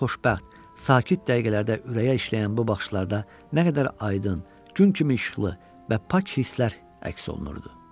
sakit dəqiqələrdə ürəyə işləyən bu baxışlarda nə qədər aydın, gün kimi işıqlı və pak hisslər əks olunurdu.